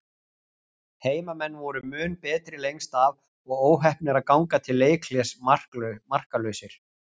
Heimamenn voru mun betri lengst af og óheppnir að ganga til leikhlés markalausir.